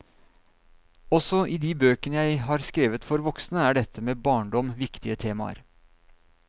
Også i de bøkene jeg har skrevet for voksne er dette med barndom viktige temaer.